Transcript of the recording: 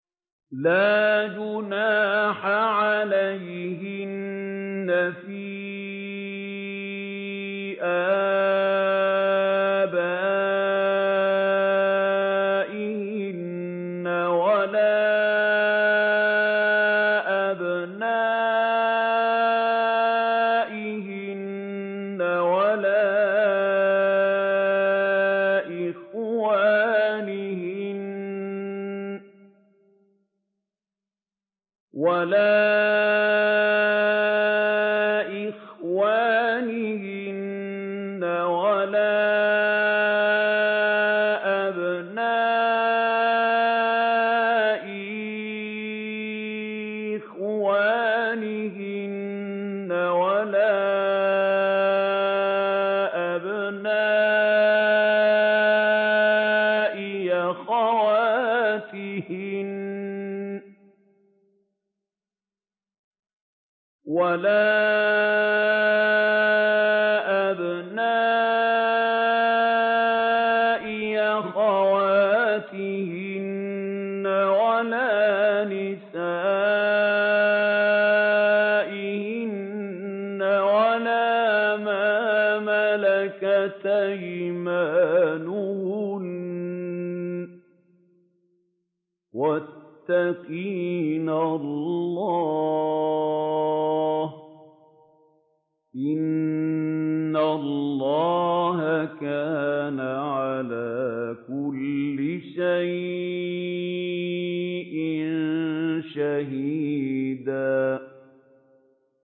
لَّا جُنَاحَ عَلَيْهِنَّ فِي آبَائِهِنَّ وَلَا أَبْنَائِهِنَّ وَلَا إِخْوَانِهِنَّ وَلَا أَبْنَاءِ إِخْوَانِهِنَّ وَلَا أَبْنَاءِ أَخَوَاتِهِنَّ وَلَا نِسَائِهِنَّ وَلَا مَا مَلَكَتْ أَيْمَانُهُنَّ ۗ وَاتَّقِينَ اللَّهَ ۚ إِنَّ اللَّهَ كَانَ عَلَىٰ كُلِّ شَيْءٍ شَهِيدًا